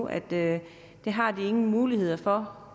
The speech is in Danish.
at det har de ingen muligheder for